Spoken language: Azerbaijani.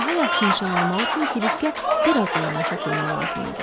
Daha yaxşı nişan almaq üçün Kiriskə biraz da yana çəkilmək lazım idi.